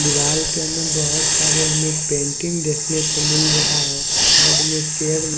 दिवाल पे में बहोत सारे हमें पेंटिंग देखने को मिल रहा है साइड में चेयर --